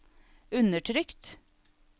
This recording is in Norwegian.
undertrykt